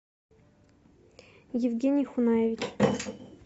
евгений хунаевич